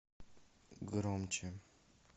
громче